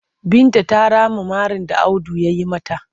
Binta ta rama marin da Audu ya yi mata.